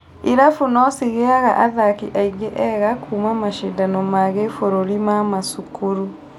Irabu no cigĩaga athaki angĩ ega kũũma mashindano ma gĩbũrĩri ma macukuru